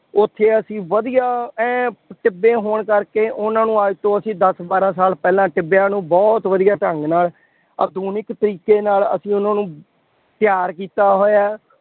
ਉੱਥੇ ਅਸੀਂ ਵਧੀਆ ਐਨ ਟਿੱਬੇ ਹੋਣ ਕਰਕੇ ਉਹਨਾ ਨੂੰ ਅੱਜ ਤੋਂ ਅਸੀਂ ਦਸ-ਬਾਰਾਂ ਸਾਲ ਪਹਿਲਾ ਟਿੱਬਿਆਂ ਨੂੰ ਬਹੁਤ ਵਧੀਆਂ ਢੰਗ ਨਾਲ ਆਧੁਨਿਕ ਤਰੀਕੇ ਨਾਲ ਅਸੀਂ ਉਹਨਾ ਨੂੰ ਤਿਆਰ ਕੀਤਾ ਹੋਇਆ ਹੈ।